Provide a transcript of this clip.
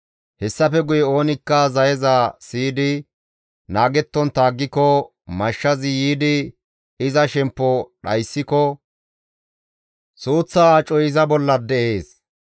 hessafe guye oonikka zayeza siyidi naagettontta aggiko, mashshazi yiidi iza shemppo dhayssiko, suuththa acoy iza bolla de7ees.